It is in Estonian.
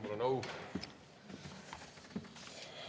Mul on au!